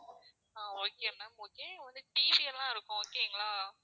அஹ் okay ma'am okay உங்களுக்கு TV எல்லாம் இருக்கும் okay ங்களா